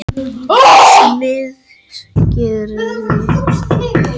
Smiðsgerði